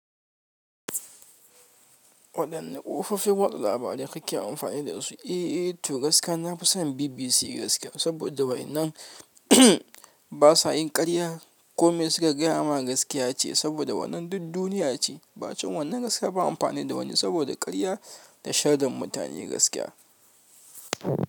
Waɗanne ƙofofi wata labarai kake amfani da su? Eh, to gaskiya nafi son BBC gaskiya saboda wainnan basa yin ƙarya, kome suka gaya mana gaskiya ce saboda wannan duk duniya ce. Ba zan wannan gaskiya ban amfani da wani saboda karya da shaidan mutane gaskiya.